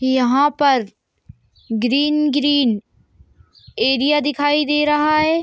यहाँ पर green- green area दिखाई दे रहा है।